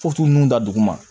ninnu da dugu ma